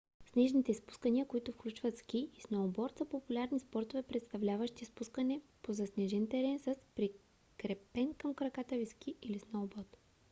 снежните спускания които включват ски и сноуборд са популярни спортове представляващи спускане по заснежен терен с прикрепен към краката ви ски или сноуборд